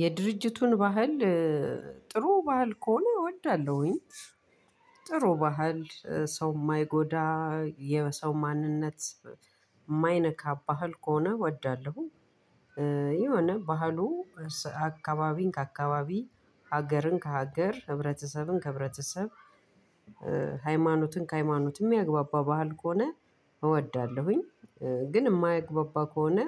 የድርጅቱን ባህል ጥሩ ባህል ከሆነ እወዳለሁኝ። ጥሩ ባህል ሰው የማይጎዳ የሰው ማንነት የማይነካ ባህል ከሆነ እወዳለሁ። የሆነ ባህሉ አካባቢን ከአካባቢ ሀገርን ከሀገር ህብረተሰብን ከህብረተሰብ ሃይማኖትን ከሃይማኖት የሚያግባባ ባህል ከሆነ እወዳለሁኝ። ግን የማያግባባ ከሆነ